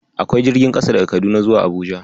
Akwai jirgin kasa daga Kaduna zuwa Abuja.